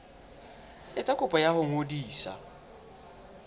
etsa kopo ya ho ngodisa